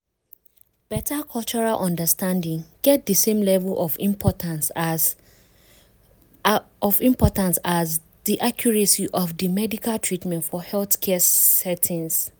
beta cultural understanding get di same level of importance as of importance as di accuracy of di medical treatment for healthcare settings.